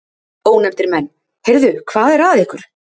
Ónefndir menn: Heyrðu, hvað er að ykkur?